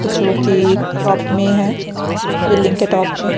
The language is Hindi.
जोकि टॉप में है बिल्डिंग के टॉप में --